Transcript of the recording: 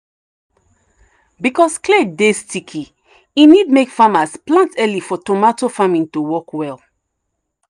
because clay dey sticky e need make farmers plant early for tomato farming to work well.